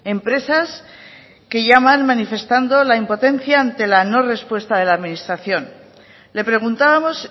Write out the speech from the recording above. empresas que llaman manifestando la impotencia ante la no respuesta de la administración le preguntábamos